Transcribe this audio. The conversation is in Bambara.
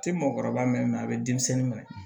Tɛ mɔgɔkɔrɔba mɛn a bɛ denmisɛnnin minɛ